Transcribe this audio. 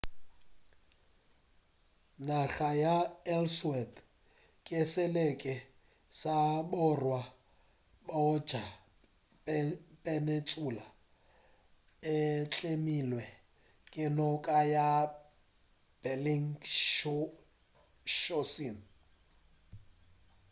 naga ya ellsworth ke selete sa borwa bja peninsula e tlemilwe ke noka ya belingshausen